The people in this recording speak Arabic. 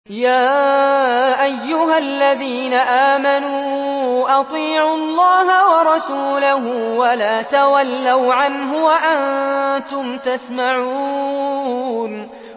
يَا أَيُّهَا الَّذِينَ آمَنُوا أَطِيعُوا اللَّهَ وَرَسُولَهُ وَلَا تَوَلَّوْا عَنْهُ وَأَنتُمْ تَسْمَعُونَ